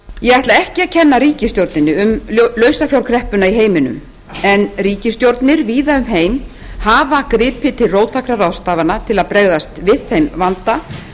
ég ætla ekki að kenna ríkisstjórninni um lausafjárkreppuna í heiminum en ríkisstjórnir víða um heim hafa gripið til róttækra ráðstafana til að bregðast við þeim vanda